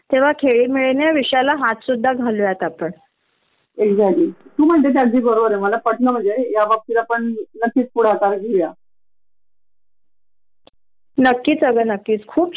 हो न कायदा किती अॅक्चुअल्ली महिलांसाठी सपोर्ट करतो तेहतीस टक्के आरक्षण राजकारणात ठेवल आहे विविध ठिकाणी सामाजिक संस्था मध्ये आरक्षण आहेत मग या प्रायवेट कंपण्याच काय प्रॉब्लेम आहे खरच कळत नाही कधी कधी.